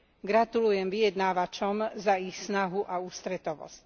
Gratulujem vyjednávačom za ich snahu a ústretovosť.